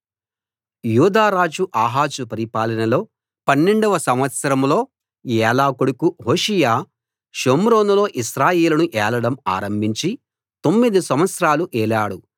యూదారాజు ఆహాజు పరిపాలనలో 12 వ సంవత్సరంలో ఏలా కొడుకు హోషేయ షోమ్రోనులో ఇశ్రాయేలును ఏలడం ఆరంభించి తొమ్మిది సంవత్సరాలు ఏలాడు